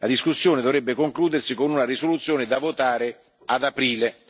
La discussione dovrebbe concludersi con una risoluzione da votare ad aprile.